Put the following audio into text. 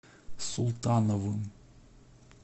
султановым